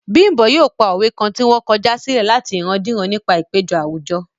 Bímbò yóò pa òwe kan ti wọ́n kọjá silẹ̀ láti ìrandíran nígbà ìpéjọ àwùjọ